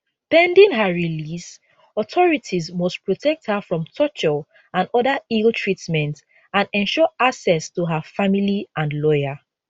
pending her release authorities must protect her from torture and oda illtreatment and ensure access to her family and lawyer